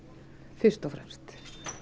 fyrst og fremst